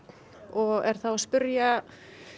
og er þá að spyrja